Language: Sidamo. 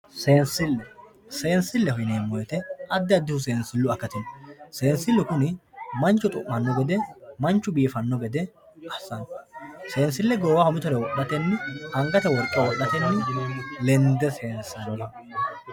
seensille yineemmo wote addi addihu seensillu akati heeranno seensillu kuni manchu xu'manno gede manchu seesanno gede assanno seensille goowaho mitore wodhatenni angate worqe wodhatenni lende seensanni.